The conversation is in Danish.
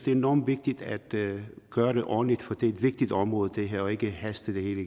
er enormt vigtigt at gøre det ordentligt for det er et vigtigt område det her og ikke haste det hele